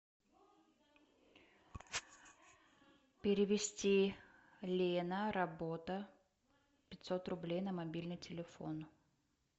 перевести лена работа пятьсот рублей на мобильный телефон